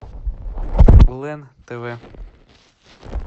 лен тв